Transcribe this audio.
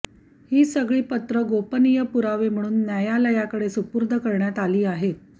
ही सगळी पत्रं गोपनीय पुरावे म्हणून न्यायालयाकडे सुपूर्द करण्यात आली आहेत